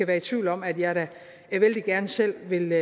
være i tvivl om at jeg selv vældig